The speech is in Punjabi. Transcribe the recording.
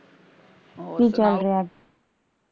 ਕੀ ਚੱਲ ਰਿਹਾ?